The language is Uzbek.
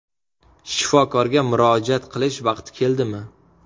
Shifokorga murojaat qilish vaqti keldimi?